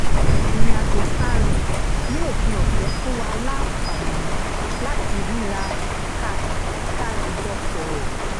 ìrìn àjò tá a rìn ní òpin ọ̀sẹ̀ fún wa láǹfààní láti ríra ká sì jọ sọ̀rọ̀